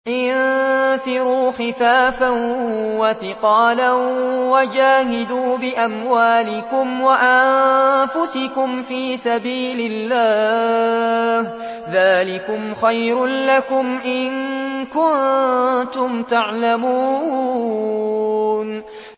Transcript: انفِرُوا خِفَافًا وَثِقَالًا وَجَاهِدُوا بِأَمْوَالِكُمْ وَأَنفُسِكُمْ فِي سَبِيلِ اللَّهِ ۚ ذَٰلِكُمْ خَيْرٌ لَّكُمْ إِن كُنتُمْ تَعْلَمُونَ